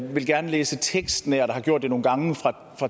vil gerne læse tekstnært og har gjort det nogle gange fra